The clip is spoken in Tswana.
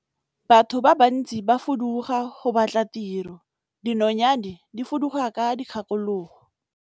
Batho ba bantsi ba fuduga go batla tiro, dinonyane di fuduga ka dikgakologo.